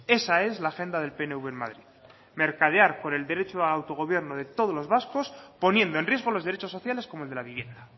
esa es la agenda del pnv en madrid mercadear con el derecho de autogobierno de todos los vascos poniendo el riesgo los derechos sociales como el de la vivienda